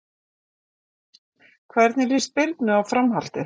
Hvernig líst Birnu á framhaldið?